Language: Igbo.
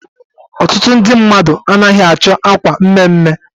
Ọtụtụ ndị mmadụ anaghị achọ akwa mme mme.